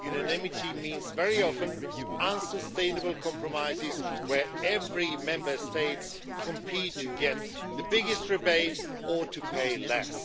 Unanimity means very often unsustainable compromises where every Member State competes to get the biggest rebate or to pay less.